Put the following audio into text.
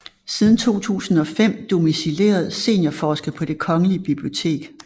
Siden 2005 domicileret seniorforsker på Det Kongelige Bibliotek